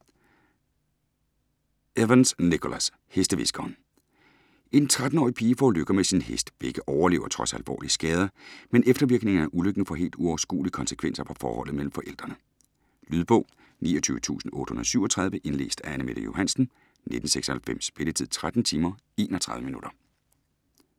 Evans, Nicholas: Hestehviskeren En 13-årig pige forulykker med sin hest. Begge overlever trods alvorlige skader, men eftervirkningerne af ulykken får helt uoverskuelige konsekvenser for forholdet mellem forældrene. Lydbog 29837 Indlæst af Anne-Mette Johansen, 1996. Spilletid: 13 timer, 31 minutter.